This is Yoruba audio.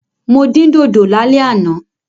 Mo dín dòdò lálẹ́ àná.